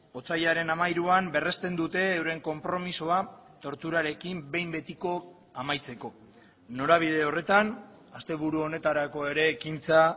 otsailaren hamairuan berrezten dute euren konpromisoa torturarekin behin betiko amaitzeko norabide horretan asteburu honetarako ere ekintza